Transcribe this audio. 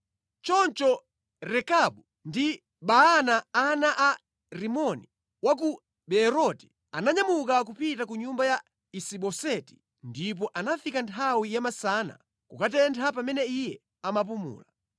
Choncho Rekabu ndi Baana ana a Rimoni wa ku Beeroti ananyamuka kupita ku nyumba ya Isi-Boseti, ndipo anafika nthawi ya masana kukutentha pamene iye amapumula.